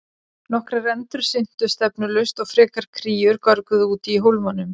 Nokkrar endur syntu stefnulaust og frekar kríur görguðu úti í hólmanum.